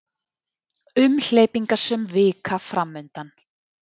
Umhleypingasöm vika framundan